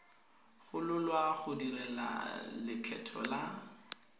gololwa go duela lekgetho la